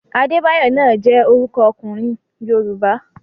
Adébáyọ̀ náà jẹ́ orúkọ ọkùnrin Yorùbá.